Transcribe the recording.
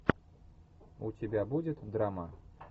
у тебя будет драма